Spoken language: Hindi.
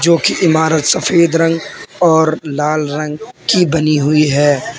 मुख्य इमारत सफेद रंग और लाल रंग की बनी हुई है।